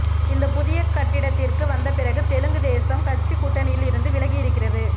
இந்த புதிய கட்டிடத்திற்கு வந்த பிறகு தெலுங்கு தேசம் கட்சி கூட்டணியில் இருந்து விலகி இருக்கிறது